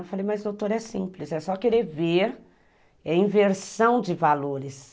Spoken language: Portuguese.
Eu falei, mas doutor, é simples, é só querer ver, é inversão de valores.